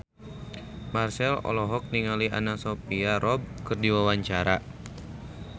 Marchell olohok ningali Anna Sophia Robb keur diwawancara